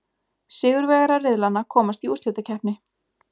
Sigurvegarar riðlanna komast í úrslitakeppni.